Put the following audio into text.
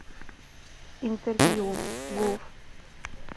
интервью гуф